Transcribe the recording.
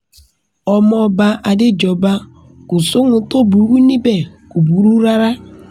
ọmọọba adéjọba kò sóhun tó burú níbẹ̀ kò burú rárá